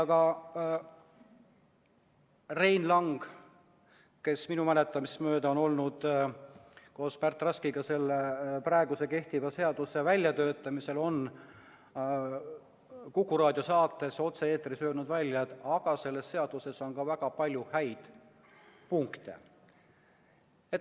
Ka Rein Lang, kes minu mäletamist mööda on osalenud koos Märt Raskiga selle praegu kehtiva seaduse väljatöötamisel, on Kuku Raadio saates otse-eetris öelnud välja, et selles seaduses on ka väga palju häid punkte.